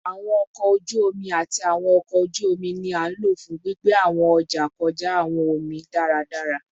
Awọn ọkọ oju omi ati awọn ọkọ oju omi ni a lo fun gbigbe awọn ọja kọja awọn omi omi daradara